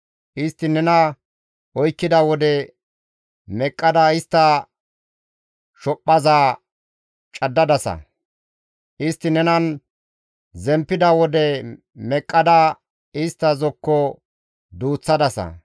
Istti nena oykkida wode meqqada istta shophphaza caddadasa; istti nenan zemppida wode meqqada istta zokko duuththadasa.